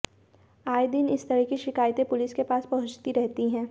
आएदिन इस तरह की शिकायतें पुलिस के पास पहुंचती रहती हैं